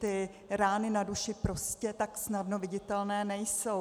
Ty rány na duši prostě tak snadno viditelné nejsou.